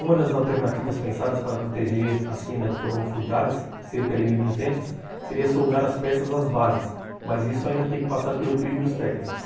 Uma das alternativas pensadas para proteger as que ainda não foram furtadas, cerca de mil e duzentas, seria soldar as peças às bases, mas isso ainda tem que passar pelo crivo dos técnicos.